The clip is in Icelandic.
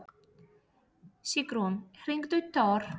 Sigrún, hringdu í Tór.